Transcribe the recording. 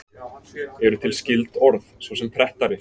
Eru til skyld orð, svo sem prettari?